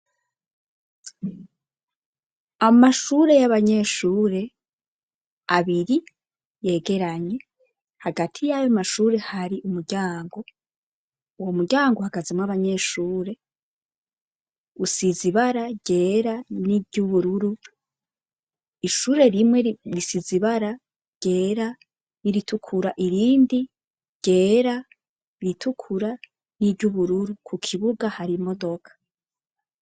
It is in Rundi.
Amashure y'abanyeshure abiri yegeranye hagati y'ayo mashure hari umuryango uwo muryango hagazemwo abanyeshure usizibara ryera n'iryoubururu ishure rimweri isi zibara ryera iritukura irindi ryera iritukura n'iryo ubururu ku kibuga hari modoka.